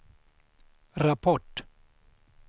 rapport